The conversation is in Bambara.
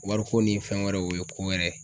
Wariko ni fɛn wɛrɛw o ye ko wɛrɛ ye.